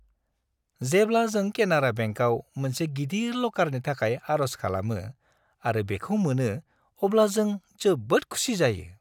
जेब्ला जों केनारा बेंकाव मोनसे गिदिर लकारनि थाखाय आर'ज खालामो आरो बेखौ मोनो, अब्ला जों जोबोद खुसि जायो।